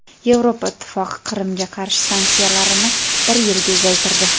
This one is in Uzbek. Yevropa Ittifoqi Qrimga qarshi sanksiyalarini bir yilga uzaytirdi.